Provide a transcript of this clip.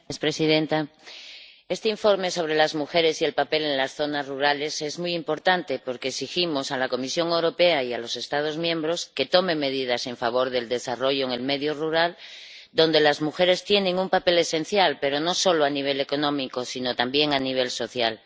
Señora presidenta, este informe sobre las mujeres y su papel en las zonas rurales es muy importante porque exigimos a la Comisión Europea y a los Estados miembros que tomen medidas en favor del desarrollo en el medio rural, donde las mujeres tienen un papel esencial, pero no solo a nivel económico, sino también a nivel social.